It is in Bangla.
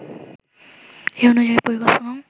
এ অনুযায়ী পরিকল্পনাও